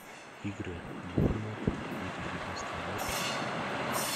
игры борнмут две тысячи девятнадцатый год